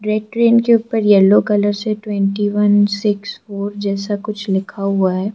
Red train के ऊपर yellow colour से ट्वेनटी वन सिक्स फोर जैसा कुछ लिखा हुआ है।